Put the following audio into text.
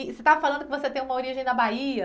E você estava falando que você tem uma origem na Bahia?